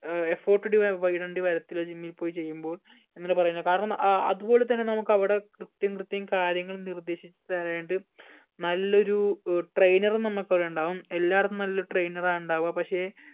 ഏർ effort ഇടുവ ഇടേണ്ടി വരത്തില്ല gym ൽ പോയി ചെയ്യുമ്പോൾ അങ്ങനെ പറയുന്ന കാരണം ഏർ അതുപോലെ തന്നെ നമ്മക് അവ്ടെ കൃത്യം കൃത്യം കാര്യങ്ങൾ നിർദ്ദേശിച്ച് താരനായിട്ട് നല്ലൊരു ഏർ trainer ഉം നമ്മക്ക് അവ്ടെ ഉണ്ടാകും എല്ലാടത്തും നല്ലൊരു trainer ആ ഇണ്ടാവുക പക്ഷെ